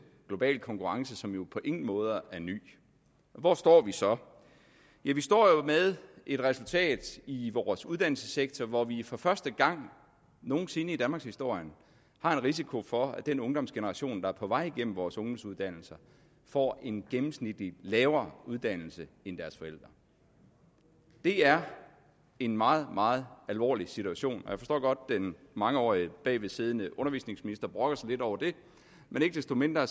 global konkurrence som jo på ingen måde er ny og hvor står vi så vi vi står jo med et resultat i vores uddannelsessektor hvor vi for første gang nogen sinde i danmarkshistorien har en risiko for at den ungdomsgeneration der er på vej gennem vores ungdomsuddannelser får en gennemsnitlig lavere uddannelse end deres forældre det er en meget meget alvorlig situation og jeg forstår godt at den mangeårige bagvedsiddende undervisningsminister brokker sig lidt over det men ikke desto mindre